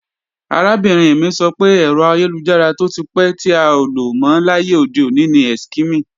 Arábìnrin mi sọ pé, ẹ̀rọ ayélujára tó ti pẹ́ tí a ò lò mọ́ láyé òde òní ni Eskimi